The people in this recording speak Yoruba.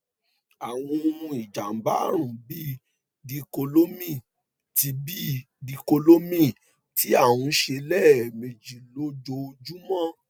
àwọn ohun ìjàǹbá àrùn bíi díkólómín tí bíi díkólómín tí a ń ṣe lẹẹmejì lójoojúmọ